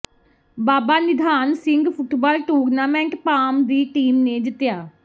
ਬਾਬਾ Nidhan Singh football tournament Bham ਦੀ team ਨੇ ਜਿੱਤਿਆ